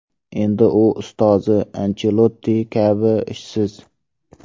Endi u ustozi Anchelotti kabi ishsiz.